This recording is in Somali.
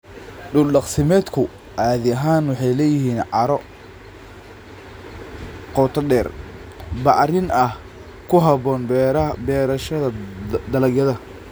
Dhul-daaqsimeedku caadi ahaan waxay leeyihiin carro qoto dheer, bacrin ah oo ku habboon beerashada dalagyada.